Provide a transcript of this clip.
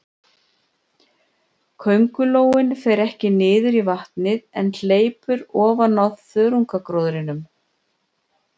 Köngulóin fer ekki niður í vatnið, en hleypur ofan á þörungagróðrinum.